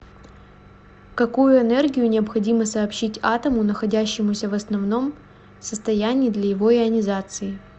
какую энергию необходимо сообщить атому находящемуся в основном состоянии для его ионизации